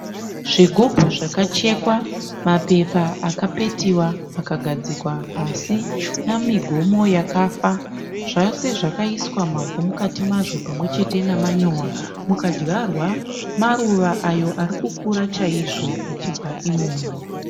Zvigubu zvakachekwa, mapepa akapetiwa akagadzikwa pasi namigomo yakafa. Zvose zvakaiswa mavhu mukati mazvo pamwechete nemanyowa mukadyarwa maruva ayo ari kukura chaizvo achibva imomo.